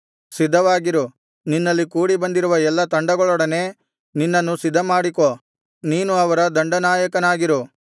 ಸಿದ್ಧವಾಗಿರು ನಿನ್ನಲ್ಲಿ ಕೂಡಿಬಂದಿರುವ ಎಲ್ಲಾ ತಂಡಗಳೊಡನೆ ನಿನ್ನನ್ನು ಸಿದ್ಧಮಾಡಿಕೋ ನೀನು ಅವರ ದಂಡ ನಾಯಕನಾಗಿರು